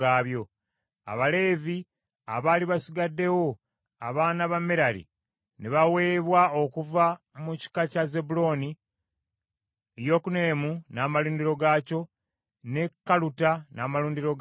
Abaleevi abaali basigaddewo abaana ba Merali ne baweebwa okuva mu kika kya Zebbulooni, Yokuneamu n’amalundiro gaakyo, ne Kaluta n’amalundiro gaakyo,